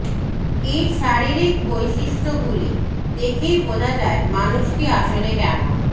এই শারীরিক বৈশিষ্ট্যগুলি দেখেই বোঝা যায় মানুষটি আসলে কেমন